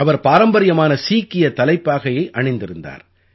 அவர் பாரம்பரியமான சீக்கியத் தலைப்பாகையை அணிந்திருந்தார்